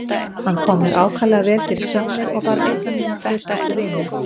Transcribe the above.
Hann kom mér ákaflega vel fyrir sjónir og varð einn af mínum traustustu vinum.